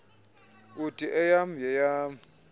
uthi eyam yeyam